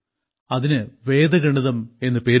അതിന് വേദഗണിതം എന്ന് പേരിട്ടു